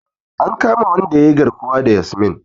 An kama wanda yayi garkuwa da Yasmin.